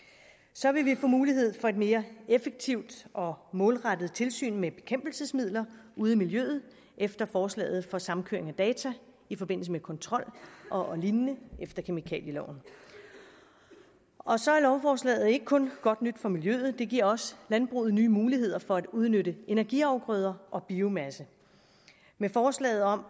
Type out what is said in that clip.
så vil vi få mulighed for et mere effektivt og målrettet tilsyn med bekæmpelsesmidler ude i miljøet efter forslaget for samkøring af data i forbindelse med kontrol og lignende efter kemikalieloven og så er lovforslaget ikke kun godt nyt for miljøet det giver også landbruget nye muligheder for at udnytte energiafgrøder og biomasse med forslaget om